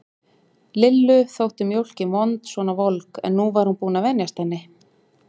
Lillu þótt mjólkin vond svona volg, en nú var hún búin að venjast henni.